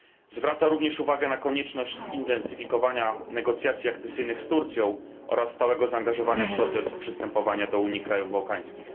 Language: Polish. Zwraca również uwagę na konieczność zintensyfikowania negocjacji akcesyjnych z Turcją oraz stałego zaangażowania w proces przystępowania do Unii krajów bałkańskich.